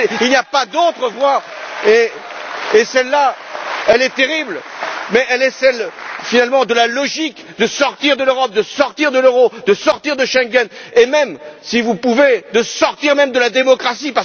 Il n'y a pas d'autre voie! Celle là, elle est terrible mais elle est celle, finalement, de la logique sortir de l'Europe, sortir de l'euro, sortir de Schengen, et, même, si vous le pouvez, sortir même de la démocratie!